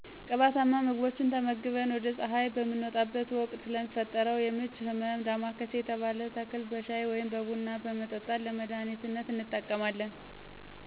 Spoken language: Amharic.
ቅባታማ ምግቦች ተመግበን ወደ ፀሐይ በምንወጣበት ወቅት ለሚፈጠረው የምች ህመም ዳማካሴ የተባለ ተክል በሻይ ወይም በቡና በመጠጣት ለመዳህኒትነት እንጠቀማለን።